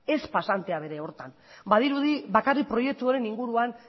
ez pasantea bere horretan badirudi bakarrik proiektuaren inguruan